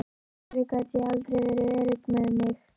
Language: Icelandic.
Af hverju gat ég aldrei verið örugg með mig.